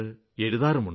എഴുതാറുമുണ്ട്